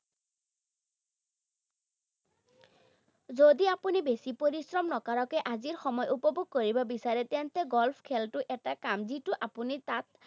যদি আপুনি বেছি পৰিশ্ৰম নকৰাকৈ আজি সময় উপভোগ কৰিব বিচাৰে, তেন্তে golf খেলটো এটা কাম যিটো আপুনি তাত